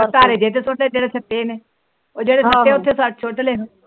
ਧਾਰੇ ਜੇ ਉਹ ਜਿਹੜੇ ਸੁਟੇ ਉਥੇ